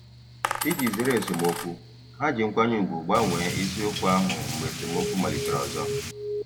Iji zere esemokwu, ha ji nkwanye ùgwù gbanwee isiokwu ahụ mgbe esemokwu malitere ọzọ.